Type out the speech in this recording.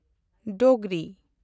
Dogri